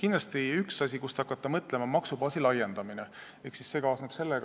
Kindlasti on üks asju, mille üle võiks hakata mõtlema, maksubaasi laiendamine.